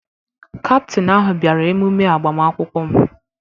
Kaptin ahụ bịara emume agbamakwụkwọ m.